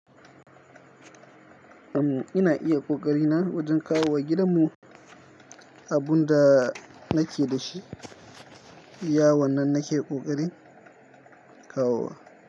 Uhm, ina iya ƙoƙari na wajen kawowa gidanmu, abun da nake da shi, yawannan nake ƙoƙarin kawowa.